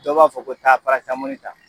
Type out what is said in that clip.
Dɔ b'a fɔ ko taa parasamɔni ta